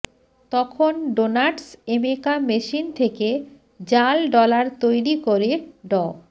তখন Donatus Emeka machine থেকে জাল ডলার তৈরি করে ড